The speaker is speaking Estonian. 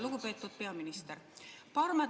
Lugupeetud peaminister!